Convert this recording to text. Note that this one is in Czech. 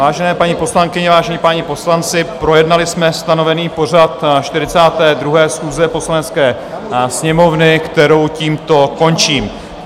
Vážené paní poslankyně, vážení páni poslanci, projednali jsme stanovený pořad 42. schůze Poslanecké sněmovny, kterou tímto končím.